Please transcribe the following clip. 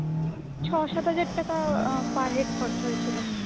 ছ সাত হাজার টাকা per head খরচা হয়েছিল